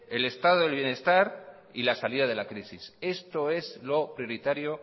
el estado de bienestar y la salida de la crisis esto es lo prioritario